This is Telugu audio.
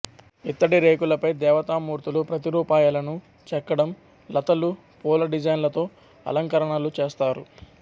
ఇత్తడి రేకులపై దేవతా మూర్తుల ప్రతిరూపాయలను చెక్కడం లతలూ పూల డిజైన్లతో అలంకరణలు చేస్తారు